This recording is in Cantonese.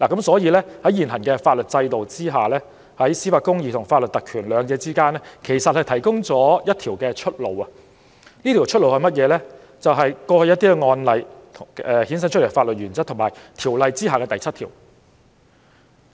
所以，在現行法律制度下，在司法公義與法律特權之間提供了一條出路，就是過去一些案例衍生出來的法律原則及《條例》第7條。